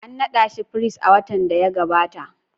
An nada shi firist a watan da ya gabata?